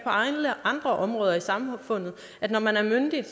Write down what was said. alle andre områder i samfundet når man er myndig er